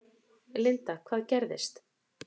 Linda: Hvað gerðist?